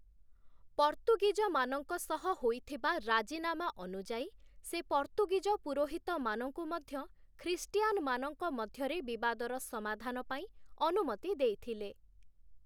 ପର୍ତ୍ତୁଗୀଜମାନଙ୍କ ସହ ହୋଇଥିବା ରାଜିନାମା ଅନୁଯାୟୀ ସେ ପର୍ତ୍ତୁଗୀଜ ପୁରୋହିତମାନଙ୍କୁ ମଧ୍ୟ ଖ୍ରୀଷ୍ଟିୟାନମାନଙ୍କ ମଧ୍ୟରେ ବିବାଦର ସମାଧାନ ପାଇଁ ଅନୁମତି ଦେଇଥିଲେ ।